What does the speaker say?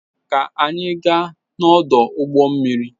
ka anyị gaa n'ọdụ ụgbọ mmiri.